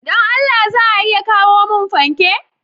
Don Allah za a iya kawo mun fanke?